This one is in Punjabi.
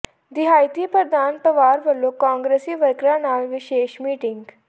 ਦਿਹਾਤੀ ਪ੍ਰਧਾਨ ਪਵਾਰ ਵਲੋਂ ਕਾਂਗਰਸੀ ਵਰਕਰਾਂ ਨਾਲ ਵਿਸ਼ੇਸ਼ ਮੀਟਿੰਗ